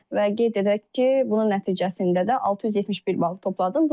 Və qeyd edək ki, bunun nəticəsində də 671 bal topladım.